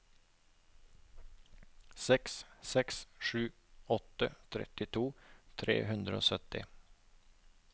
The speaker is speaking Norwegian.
seks seks sju åtte trettito tre hundre og sytti